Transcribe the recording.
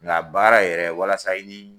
Nga baara yɛrɛ walasa